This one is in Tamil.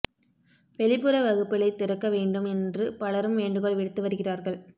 வெளிப்புற வகுப்புகளைத் திறக்க வேண்டும் என்று பலரும் வேண்டுகோள் விடுத்து வருகிறாா்கள்